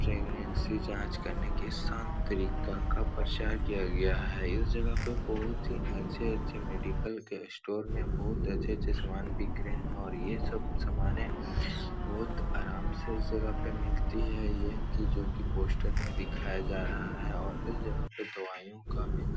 Pregnancy जाँच करने के सान तरीका का प्रचार किया गया है। इस जगह पे बहोत ही अच्छे-अच्छे मेडिकल के स्टोर में बहोत अच्छे-अच्छे सामान बिक रहे हैं और ये सब सामानें बहोत आराम से इस जगह पर मिलती हैं। ये कि जो कि पोस्टर में दिखाया जा रहा है और इस जगह पे दवाईयों का भी अ --